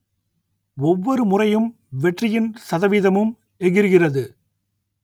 ஒவ்வொருமுறையும் வெற்றியின் சதவீதமும் எகிறுகிறது